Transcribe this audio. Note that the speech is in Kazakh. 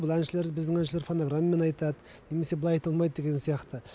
бұл әншілер біздің әншілер фонограммамен айтады немесе былай айта алмайды деген сияқты